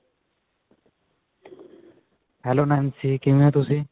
hello Nancy, ਕਿਵੇਂ ਹੋ ਤੁਸੀਂ?